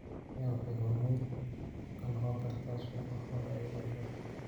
Kenya waxay hormuud ka noqon kartaa suuqa xoolaha ee Bariga Afrika.